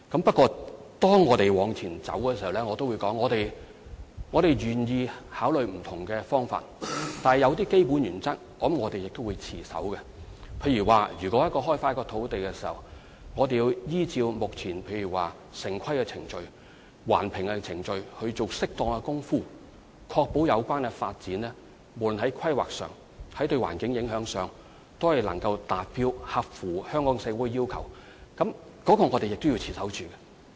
不過，正如我剛才所說，在推進這方面的工作時，我們願意考慮不同方法，但有一些基本原則亦必須持守，例如在開發土地時，必須依照現有程序，包括城規程序、環評程序採取適當的步驟，以確保有關發展項目不論在規劃上和對環境的影響方面，均能達標並合乎香港社會的要求，這是我們必須持守的原則。